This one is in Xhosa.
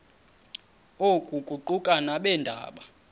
oku kuquka nabeendaba